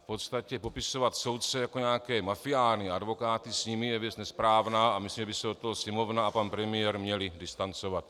V podstatě popisovat soudce jako nějaké mafiány, a advokáty s nimi, je věc nesprávná a myslím, že by se od toho Sněmovna a pan premiér měli distancovat.